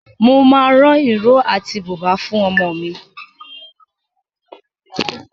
Mo máa rán ìró àti bùbá fún ọmọ mi.